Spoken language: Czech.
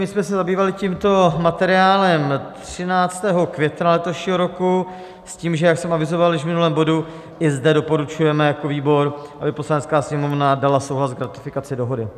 My jsme se zabývali tímto materiálem 13. května letošního roku s tím, že jak jsem avizoval již v minulém bodu, i zde doporučujeme jako výbor, aby Poslanecká sněmovna dala souhlas k ratifikaci dohody.